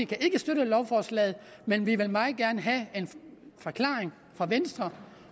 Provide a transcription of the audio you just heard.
kan ikke støtte lovforslaget men vi vil meget gerne have en forklaring fra venstre